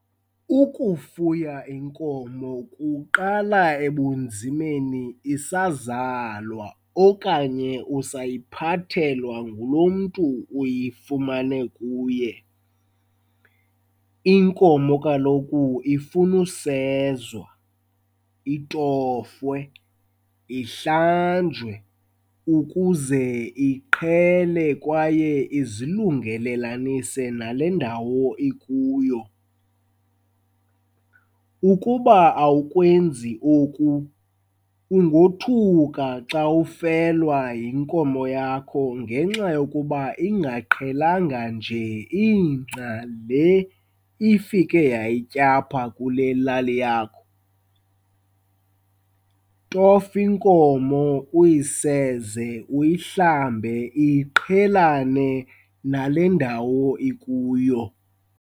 Ukufuya inkomo kuqala ebunzimeni isazalwa okanye usayiphathelwa ngulo mntu uyifumane kuye. Inkomo kaloku ifuna usezwa, itofwe, ihlanjwe ukuze iqhele kwaye izilungelelanise nale ndawo ikuyo. Ukuba awukwenzi oku, ungothuka xa ufelwa yinkomo yakho ngenxa yokuba ingaqhelanga nje ingca le ifike yayitya apha kule lali yakho. Tofa inkomo, uyiseze, uyihlambe iqhelane nale ndawo ikuyo.